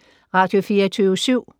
Radio24syv